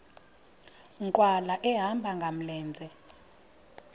nkqwala ehamba ngamlenze